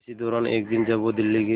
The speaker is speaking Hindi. इसी दौरान एक दिन जब वो दिल्ली के